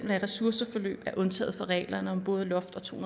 ressourceforløb er undtaget fra reglerne om både loft og to